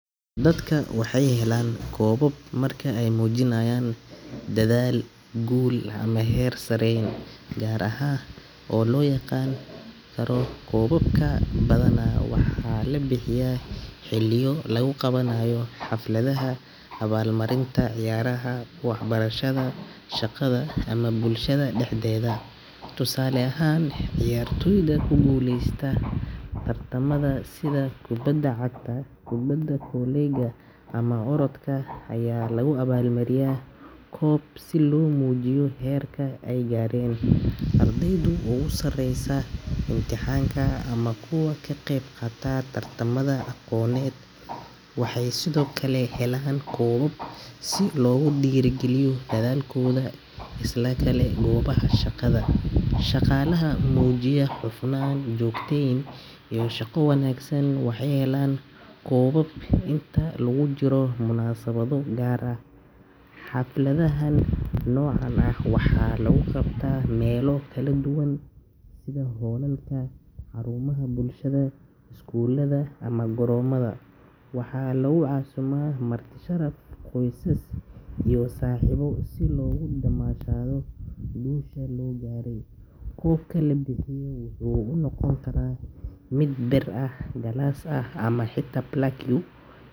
Dadku waxay helaan koobab marka ay muujiyaan dadaal, guul ama heer sareyn gaar ah oo la aqoonsan karo. Koobabka badanaa waxaa la bixiyaa xilliyo lagu qabanayo xafladaha abaalmarinta, ciyaaraha, waxbarashada, shaqada ama bulshada dhexdeeda. Tusaale ahaan, ciyaartooyda ku guuleysta tartamada sida kubadda cagta, kubadda kolayga ama orodka ayaa lagu abaalmariyaa koob si loo muujiyo heerka ay gaareen. Ardayda ugu sareysa imtixaanka ama kuwa ka qaybqaata tartamada aqooneed waxay sidoo kale helaan koobab si loogu dhiirrigeliyo dadaalkooda. Sidoo kale goobaha shaqada, shaqaalaha muujiya hufnaan, joogteyn iyo shaqo wanaagsan waxay helaan koobab inta lagu jiro munaasabado gaar ah. Xafladaha noocaan ah waxaa lagu qabtaa meelo kala duwan sida hoolalka, xarumaha bulshada, iskuullada ama garoomada. Waxaa lagu casuuma marti sharaf, qoysas iyo saaxiibo si loogu damaashaado guusha la gaaray. Koobka la bixiyo waxa uu noqon karaa mid bir ah, galaas ah ama xitaa plaque.